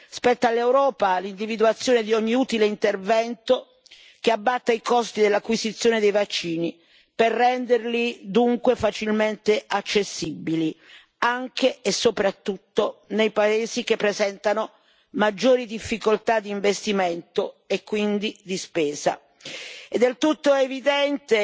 Spetta all'Europa l'individuazione di ogni utile intervento che abbatta i costi dell'acquisizione dei vaccini, per renderli dunque facilmente accessibili anche, e soprattutto, nei paesi che presentano maggiori difficoltà di investimento e quindi di spesa. È del tutto evidente,